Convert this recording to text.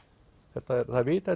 það er vitað